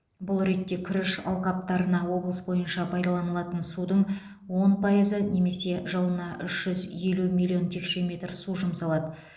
бұл ретте күріш алқаптарына облыс бойынша пайдаланылатын судың он пайызы немесе жылына үш жүз елу миллион текше метр су жұмсалады